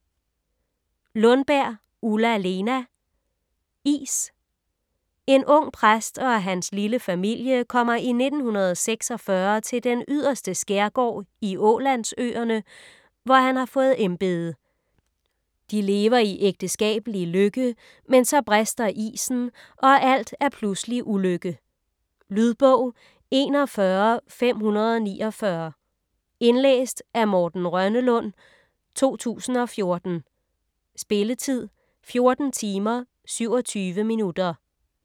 Lundberg, Ulla-Lena: Is En ung præst og hans lille familie kommer i 1946 til den yderste skærgård i Ålandsøerne, hvor han har fået embede. De lever i ægteskabelige lykke, men så brister isen, og alt er pludselig ulykke. Lydbog 41549 Indlæst af Morten Rønnelund, 2014. Spilletid: 14 timer, 27 minutter.